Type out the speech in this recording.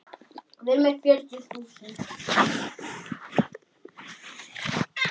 Heitir það ekki